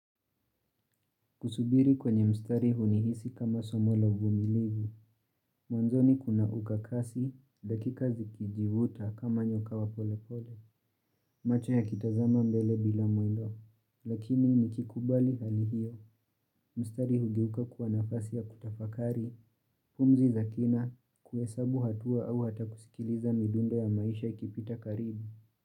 Kusubiri kwenye mstari hunihisi kama somo la uvumilivu. Mwanzoni kuna ukakasi, dakika zikijivuta kama nyoka wa pole pole. Machi yakitazama mbele bila muendo. Lakini nikikubali hali hiyo. Mstari hugeuka kuwa nafasi ya kutafakari, pumzi za kina, kuhesabu hatua au hata kusikiliza midundo ya maisha ikipita karibu.